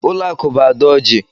Ụlọakụ bụ Ada Ọji.